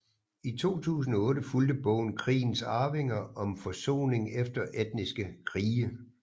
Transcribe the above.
I 2008 fulgte bogen Krigens arvinger om forsoning efter etniske krige